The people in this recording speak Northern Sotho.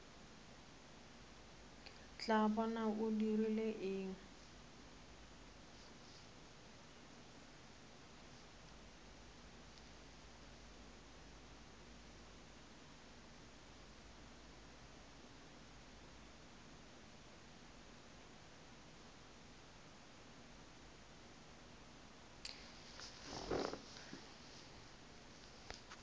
tla bona a dirile eng